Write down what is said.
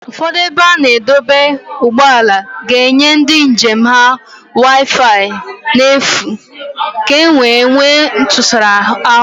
Ụfọdụ ebe a na-adọba ụgbọala ga-enye ndị njem ha wifi n'efu ka ọ wee nwee ntụsara ahụ